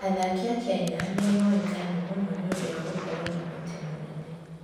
Athaki a Kenya nĩ moĩkaine mũno nĩ ũndũ wa gũkorũo na ũhoti mũnene.